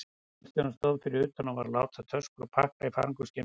Bílstjórinn stóð fyrir utan og var að láta töskur og pakka í farangursgeymsluna.